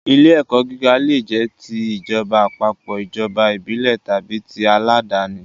Ilé-ẹ̀kọ́ gíga leè jẹ́ ti ìjọba àpapọ̀, ìjọba ìbílẹ̀ tàbí ti àládàáni.